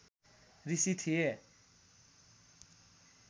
ऋषि थिए।